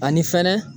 Ani fɛnɛ